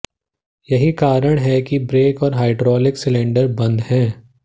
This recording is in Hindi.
यही कारण है कि ब्रेक और हाइड्रोलिक सिलेंडर बंद है